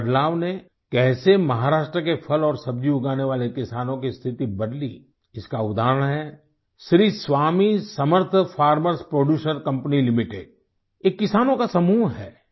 इस बदलाव ने कैसे महाराष्ट्र के फल और सब्जी उगाने वाले किसानों की स्थिति बदली इसका उदाहरण हैं Shri Swami Samarth farmers producer company limited ये किसानों का समूह है